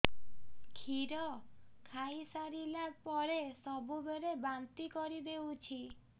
କ୍ଷୀର ଖାଇସାରିଲା ପରେ ସବୁବେଳେ ବାନ୍ତି କରିଦେଉଛି